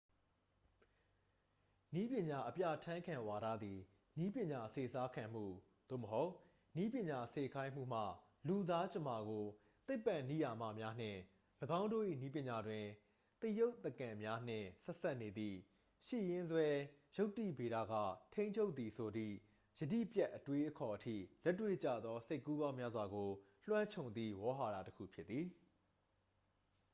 နည်းပညာ အပြဠာန်းခံဝါဒသည် နည်းပညာစေစားခံမှု သို့မဟုတ် နည်းပညာ စေခိုင်းမှုမှ လူသားကြမ္မာကို သိပ္ပံနိယာမများနှင့် ၎င်းတို့၏ နည်းပညာတွင် သရုပ်သကန်များနှင့် ဆက်စပ်နေသည့် ရှိရင်းစွဲ ယုတ္တိဗေဒက ထိန်းချုပ်သည်ဆိုသည့် ယတိပြတ် အတွေးအခေါ်အထိ လက်တွေ့ကျသော စိတ်ကူးပေါင်းများစွာကို လွှမ်းခြုံသည့် ဝေါဟာရတစ်ခု ဖြစ်သည်